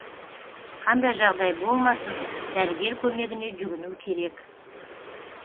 қандай жағдай болмасын дәрігер көмегіне жүгіну керек